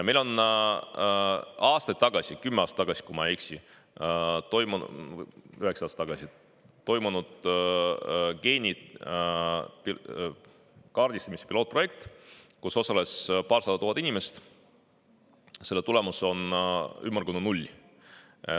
Meil toimus aastaid tagasi, kümme aastat tagasi, kui ma ei eksi, üheksa aastat tagasi, geenide kaardistamiseks pilootprojekt, milles osales paarsada tuhat inimest – selle tulemus on ümmargune null.